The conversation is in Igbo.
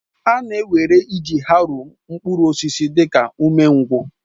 A na-ewere iji haroo mkpụrụ osisi dị ka umengwụ